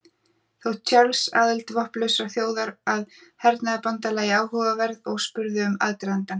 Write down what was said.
Þótti Charles aðild vopnlausrar þjóðar að hernaðarbandalagi áhugaverð og spurði um aðdragandann.